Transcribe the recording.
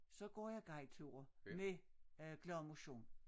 Så går jeg guideture med glad motion